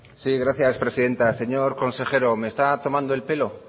sí gracias presidenta señor consejero me está tomando el pelo